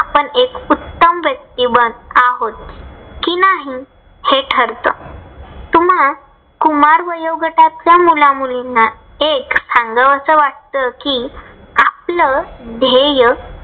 आपण एक व्यक्ती बस आहोत कि नाही हे ठरत. तुम्हा कुमार वयोगटाच्या मुला मुलींना एक सांगावस वाटतं कि आपल धेय्य